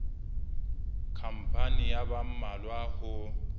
khampani ya ba mmalwa ho